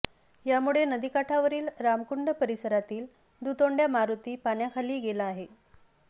यामुळे नदीकाठावरील रामकुंड परिसरातील दुतोंड्या मारुती पाण्याखाली गेला आहे